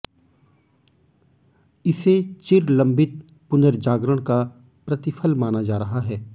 इसे चिरलंबित पुनर्जागरण का प्रतिफल माना जा रहा है